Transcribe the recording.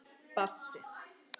Bassi